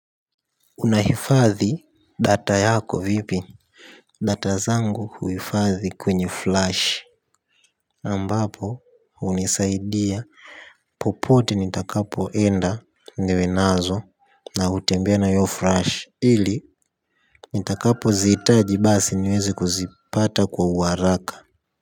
Unahifadhi data yako vipi data zangu huifadhi kwenye flash ambapo hunisaidia popote nitakapoenda niwe nazo na hutembea na io flash ili nitakapoziitaji basi niweze kuzipata kwa uwaraka.